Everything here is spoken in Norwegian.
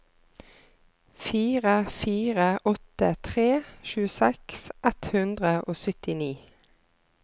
fire fire åtte tre tjueseks ett hundre og syttini